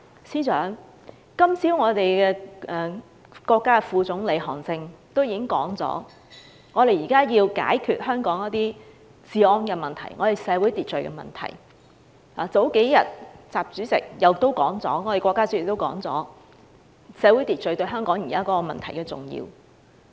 司長，今早國家副總理韓正已表示，我們現在要解決香港的治安及社會秩序問題；而數天前，國家主席亦表示，社會秩序對香港現時的問題很重要。